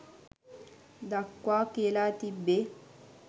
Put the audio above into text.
දක්වා කියලා තිබ්බේ.